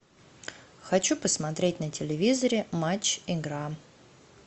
хочу посмотреть на телевизоре матч игра